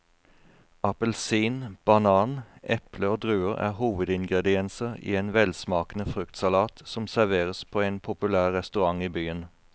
Appelsin, banan, eple og druer er hovedingredienser i en velsmakende fruktsalat som serveres på en populær restaurant i byen.